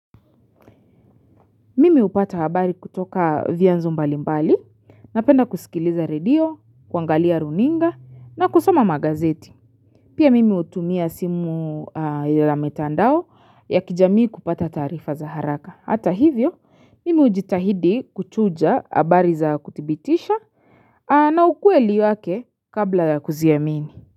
Mimi hupata habari kutoka vyanzo mbalimbali, napenda kusikiliza redio, kuangalia runinga na kusoma magazeti. Pia mimi hutumia simu la mitandao ya kijamii kupata taarifa za haraka. Hata hivyo, mimi hujitahidi kuchuja habari za kuthibitisha na ukweli wake kabla ya kuziamini.